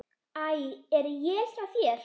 Æ. Er él hjá þér!